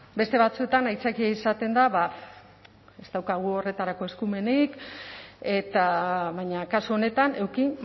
beste batzuetan aitzakia izaten da ba ez daukagu horretarako eskumenik eta baina kasu honetan eduki